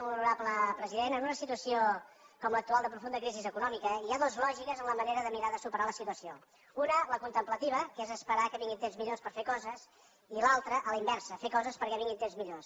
molt honorable president en una situació com l’actual de profunda crisi econòmica hi ha dues lògiques en la manera de mirar de superar la situació una la contemplativa que és esperar que vinguin temps millors per fer coses i l’altra a la inversa fer coses perquè vinguin temps millors